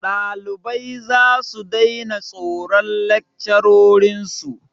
Ɗalibai zasu daina tsoron lakcarorin su.